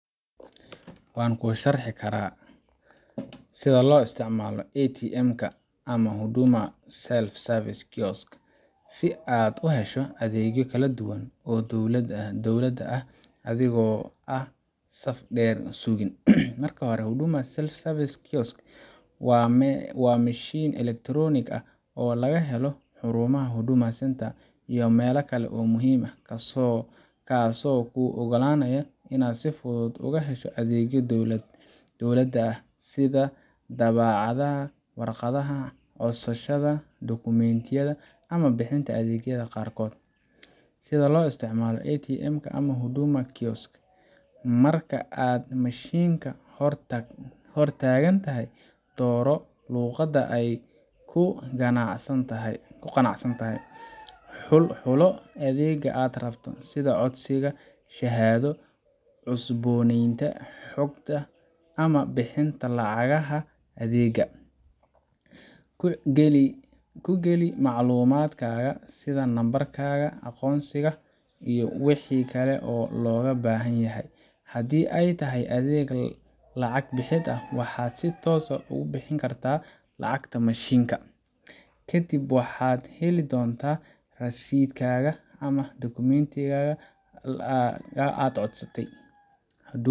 waan kuu sharxi karaa sida loo isticmaalo ATM ka ama Huduma Self-Service Kioska si aad uhesho adeegyo kala duwan oo dowladda ah adigoo aan saf dheer sugin. Marka hore, Huduma Self-Service waa mashiin elektaroonik ah oo laga helo xarumaha Huduma Centres] iyo meelo kale oo muhiim ah, kaasoo kuu oggolaanaya inaad si fudud uga hesho adeegyo dowladda ah sida daabacaadda waraaqaha, codsashada dukumiintiyada, ama bixinta adeegyada qaarkood. Sida loo isticmaalo ATM ka ama Huduma Kiosk: Marka aad mashiinka hor taagan tahay, dooro luqadda aad ku qanacsan tahay. Xulo adeegga aad rabto, sida codsiga shahaado, cusboonaysiinta xogta, ama bixinta lacagaha adeegga. Ku geli macluumaadkaaga sida nambarkaaga aqoonsiga iyo wixii kale ee looga baahan yahay. Haddii ay tahay adeeg lacag bixid, waxaad si toos ah uga bixin kartaa lacagta mashiinka. Kadib waxaad heli doontaa rasiidhkaaga ama dukumiintigaaga aad codsatay.